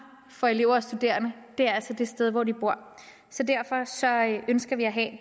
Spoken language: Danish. for elever og studerende er altså det sted hvor de bor derfor ønsker ønsker vi at